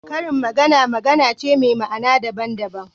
Karin magana magana ce me ma'ana daban daban